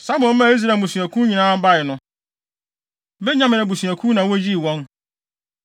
Samuel maa Israel mmusuakuw nyinaa bae no, Benyamin abusuakuw na woyii wɔn.